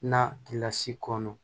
Na kilasi kɔnɔ